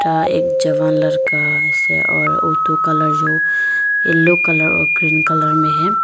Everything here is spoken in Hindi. एक जवान लड़का ऐसे और ऑटो कलर जो येलो कलर ग्रीन कलर में है।